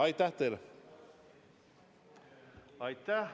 Aitäh!